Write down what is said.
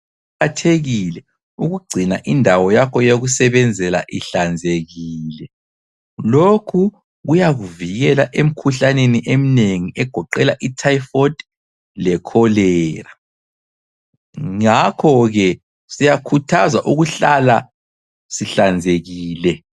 Kuqakathekile ukugcina indawo yakho yokusebenzela ihlanzekile. Lokhu kuyakuvikela emkhuhlaneni eminengi egoqela i-typhoid leCholera, ngakho ke siyakhuthazwa ukuhlala sihlanzekile.